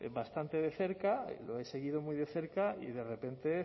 bastante de cerca lo he seguido muy de cerca y de repente